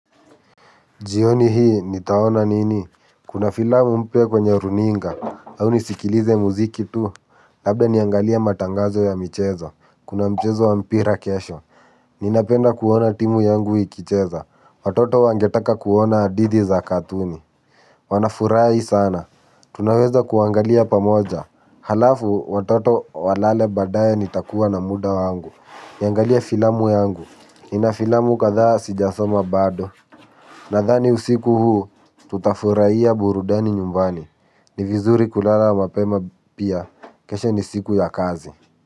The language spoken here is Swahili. Jioni hii nitaona nini? Kuna filamu mpya kwenye runinga au nisikilize muziki tu labda niangalie matangazo ya michezo kuna mchezo wa mpira kesho ninapenda kuona timu yangu ikicheza. Watoto wangetaka kuona hadithi za katuni wanafurahi sana, tunaweza kuangalia pamoja alafu watoto walale baadaye nitakuwa na muda wangu, niangalie filamu yangu ni na filamu kadhaa sijasoma bado. Nadhani usiku huu tutafurahia burudani nyumbani. Ni vizuri kulala mapema pia. Kesho ni siku ya kazi.